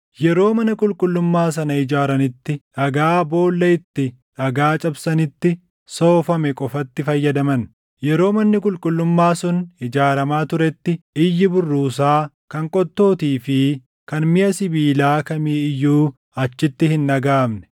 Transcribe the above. Yeroo mana qulqullummaa sana ijaaranitti dhagaa boolla itti dhagaa cabsanitti soofame qofatti fayyadaman; yeroo manni qulqullummaa sun ijaaramaa turetti iyyi burruusaa, kan qottootii fi kan miʼa sibiilaa kamii iyyuu achitti hin dhagaʼamne.